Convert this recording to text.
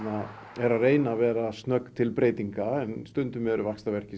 er að reyna að vera snögg til breytinga stundum eru vaxtaverkir sem